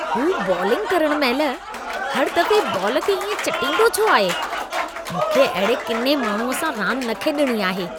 हू बॉलिंग करण महिल, हर दफ़े बॉल खे इएं चटींदो छो आहे? मूंखे अहिड़े किने माण्हूअ सां रांदि न खेॾिणी आहे।